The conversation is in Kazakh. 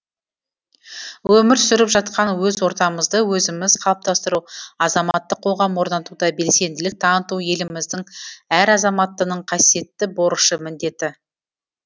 өмір сүріп жатқан өз ортамызды өзіміз қалыптастыру азаматтық қоғам орнатуда белсенділік таныту еліміздің әр азаматтының қасиеттті борышы міндеті